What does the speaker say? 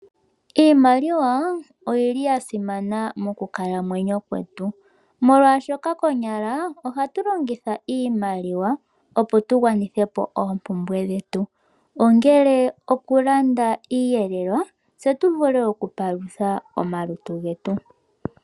Iimaliwa oyili ya simana mokukalamwenyo kwetu molwaashoka konyala ohatu longitha iimaliwa opo tu gwanithe po oompumbwe dhetu, ongele oku landa iiyelelwa, tse tu vule oku palutha omalutu getu.